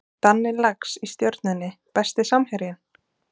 Danni Lax í Stjörnunni Besti samherjinn?